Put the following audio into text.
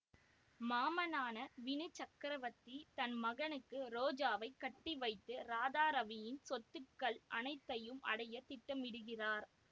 மாமனான வினு சக்ரவர்த்தி தன் மகனுக்கு ரோஜாவை கட்டிவைத்து இராதாரவியின் சொத்துக்கள் அனைத்தையும் அடைய திட்டமிடுகிறார்